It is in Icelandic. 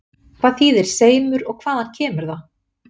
Hvað þýðir seimur og hvaðan kemur það?